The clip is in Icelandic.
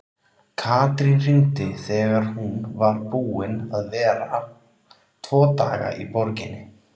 Katrín hringdi þegar hún var búin að vera tvo daga í borginni.